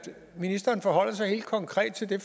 ministeren forholder sig helt konkret til det